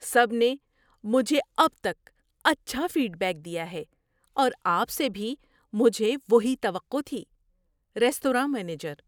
سب نے مجھے اب تک اچھا فیڈ بیک دیا ہے اور آپ سے بھی مجھے وہی توقع تھی۔ (ریستوراں مینیجر)